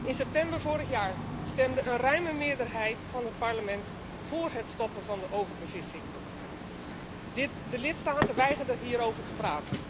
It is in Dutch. In september vorig jaar stemde een ruime meerderheid van het Parlement voor het stoppen van de overbevissing. De lidstaten weigerden hierover te praten.